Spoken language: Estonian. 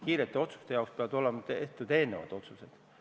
Kiirete otsuste jaoks peavad aga olema tehtud eelnevad otsused.